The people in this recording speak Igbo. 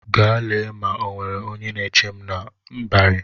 Gaa lee ma e nwere onye na-eche m n'ịbarị!